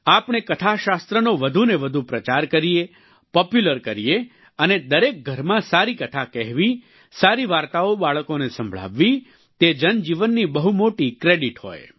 આપણે કથાશાસ્ત્રનો વધુને વધુ પ્રચાર કરીએ પોપ્યુલર કરીએ અને દરેક ઘરમાં સારી કથા કહેવી સારી વાર્તાઓ બાળકોને સંભળાવવી તે જનજીવનની બહુ મોટી ક્રેડિટ હોય